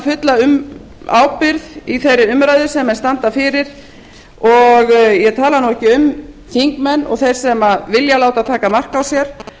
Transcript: fulla ábyrgð í þeirri umræðu sem þeir standa fyrir ég tali nú ekki um þingmenn og þá sem vilja láta taka mark á sér